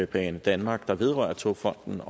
banedanmark der vedrører togfonden